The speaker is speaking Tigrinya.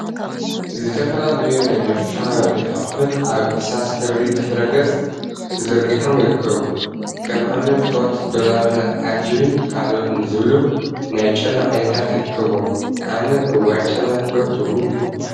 ዝተፈላለዩ ናይ መፀባበቂ አቁሑት አብ እርሳስ ሕብሪ ድሕረ ገፅ ተዘርጊሖም ይርከቡ፡፡ ከም አብነት ሆት ዶላርነ አርጂቢን ካልኦትን ዝብሉ ናይ ጨና ዓይነታት ይርከቡዎም፡፡ አነ እዋይ ጨና ክፈቱ!